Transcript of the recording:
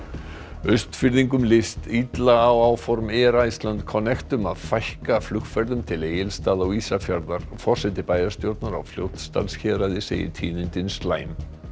Austfirðingum líst illa á áform Iceland Connect um að fækka flugferðum til Egilsstaða og Ísafjarðar forseti bæjarstjórnar á Fljótsdalshéraði segir tíðindin slæm